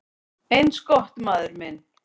"""Eins gott, maður minn"""